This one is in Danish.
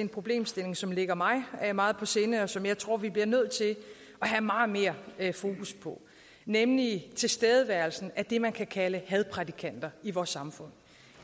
en problemstilling som ligger mig meget på sinde og som jeg tror vi bliver nødt til at have meget mere fokus på nemlig tilstedeværelsen af det man kan kalde hadprædikanter i vores samfund